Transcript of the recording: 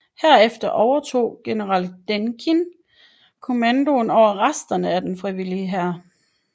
Herefter overtog general Denikin kommandoen over resterne af Den frivillige Hær